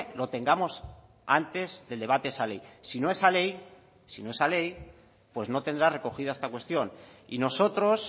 lo tengamos antes del debate de esa ley si no esa ley si no esa ley pues no tendrá recogida esta cuestión y nosotros